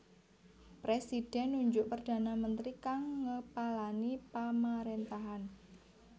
Presidhèn nunjuk perdana mentri kang ngepalani pamaréntahan